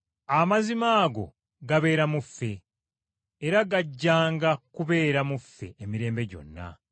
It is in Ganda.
Amazima ago gabeera mu ffe, era gajjanga kubeera mu ffe emirembe gyonna.